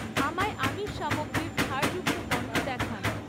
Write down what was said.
আমায় আমিষ সামগ্রীর ছাড়যুক্ত পণ্য দেখান